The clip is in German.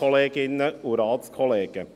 Kommissionspräsident der FiKo.